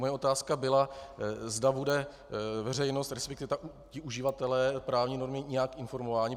Moje otázka byla, zda bude veřejnost, respektive ti uživatelé právní normy nějak informováni.